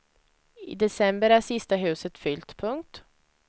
I december är sista huset fyllt. punkt